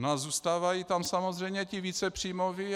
No a zůstávají tam samozřejmě ti více příjmoví.